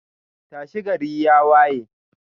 tashi, gari ya waye.